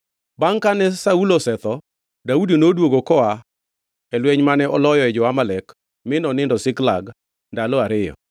Bangʼ kane Saulo osetho, Daudi noduogo koa e lweny mane oloyoe jo-Amalek mi nonindo Ziklag ndalo ariyo.